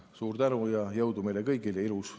Suur tänu ja jõudu meile kõigile!